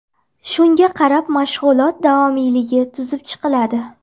Shunga qarab mashg‘ulot davomiyligi tuzib chiqiladi.